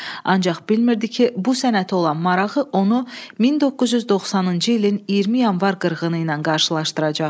Ancaq bilmirdi ki, bu sənətə olan marağı onu 1990-cı ilin 20 yanvar qırğını ilə qarşılaşdıracaq.